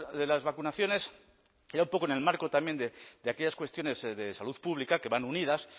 de las vacunaciones era un poco en el marco también de aquellas cuestiones de salud pública que van unidas